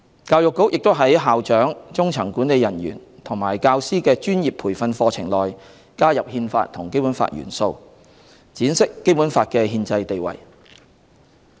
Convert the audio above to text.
教育局也在校長、中層管理人員及教師的專業培訓課程內，加入《憲法》和《基本法》元素，闡釋《基本法》的憲制地位。